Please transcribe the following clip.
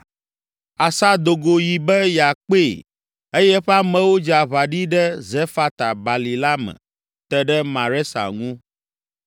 Asa do go yi be yeakpee eye eƒe amewo dze aʋa ɖi ɖe Zefata bali la me te ɖe Maresa ŋu.